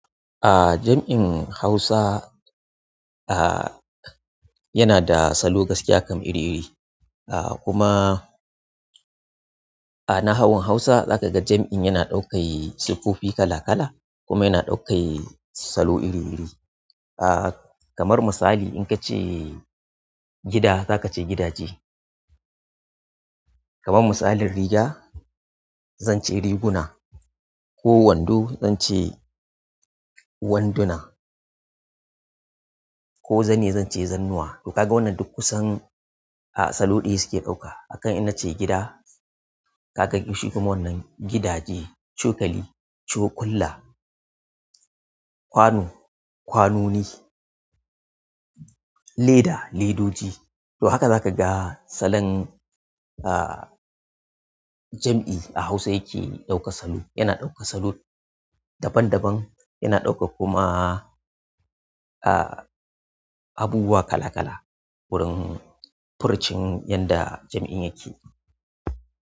A jam'in Hausa yana da salo gaskiya kam iri-iri. A kuma nahawun Hausa zaka ga jam'in yana ɗaukai siffofi kala-kala kuma yana ɗaukai salo iri-iri. A kamar misali in kace gida zaka ce gidaje. Kaman misalin riga, zan ce riguna ko wando zan ce wanduna. Ko zane zan ce zannuwa. To kaga wannan duk kusan a salo ɗaya suke ɗauka. Akan in nace gida ka ga shi kuma wannan gidaje, cokali, cokulla, kwano, kwanoni. Leda, ledoji to haka za ka ga salon jam'i a Hausa yake ɗaukanbsalo. Yana ɗaukar salo daban-daban yana ɗaukan kuma abubuwa kala-kala wurin furucin yanda jam'in yake.